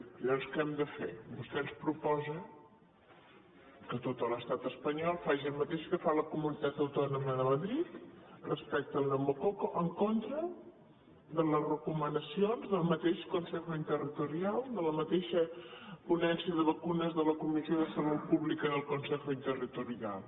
llavors què hem de fer vostè ens proposa que tot l’estat espanyol faci el mateix que fa la comunitat autònoma de madrid respecte al pneumococ en contra de les recomanacions del mateix consejo interterritorial de la mateixa ponència de vacunes de la comissió de salut pública del consejo interterritorial